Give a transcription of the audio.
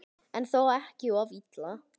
En þó ekki of illa.